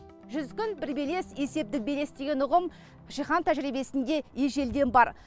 жүз күн бір белес есептік белес деген ұғым жиһан тәжірибесінде ежелден бар